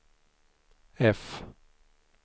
F